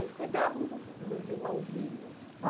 E vocês cuidavam dos dos irmãozinhos?